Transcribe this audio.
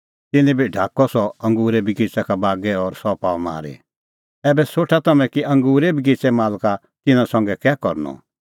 तिन्नैं बी काढअ सह अंगूरे बगिच़ै का बागै और सह पाअ मारी ऐबै सोठा तम्हैं कि अंगूरे बगिच़ेए मालका तिन्नां संघै कै करनअ